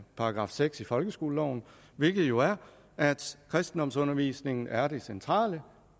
§ seks i folkeskoleloven hvilket jo er at kristendomsundervisningen er det centrale